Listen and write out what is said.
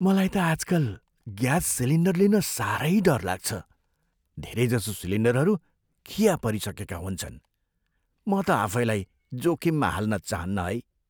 मलाई त आजकल ग्यास सिलिन्डर लिन साह्रै डर लाग्छ। धेरैजसो सिलिन्डरहरू खिया परिसकेका हुन्छन्। म त आफैलाई जोखिममा हाल्न चाहन्नँ है।